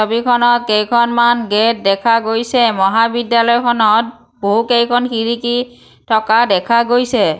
ছবিখনত কেইখনমান গেট দেখা গৈছে মহাবিদ্যালয়খনত বহুকেইখন খিৰিকী থকা দেখা গৈছে।